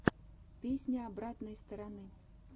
песня обратной стороны